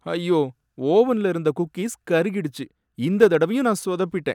ஐயோ! ஓவன்ல இருந்த குக்கீஸ் கருகிடுச்சி. இந்த தடவையும் நான் சொதப்பிட்டேன்.